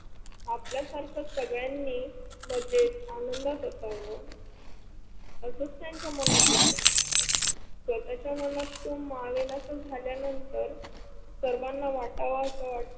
आपल्या सारख सगळ्यांनी मजेत आनंदात असाव असच त्यांच्या मनात येत. स्वताच्या मनात तो मावेनासा झाल्यानंतर सर्वाना वाटावा असा वाट